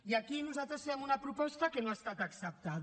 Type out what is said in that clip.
i aquí nosaltres fem una proposta que no ha estat acceptada